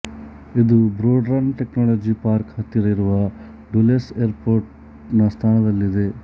ಇದು Broad Run technology park ಹತ್ತಿರ ಇರುವ ಡುಲ್ಲೆಸ್ ಏರ್ಪೊರ್ಟ್ ನ ಸ್ಥಾನದಲ್ಲಿದೆ